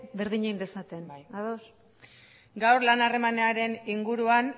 berdin egin dezaten ados bai gaur lan harremanaren inguruan